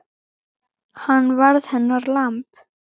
Hann varð hennar lamb.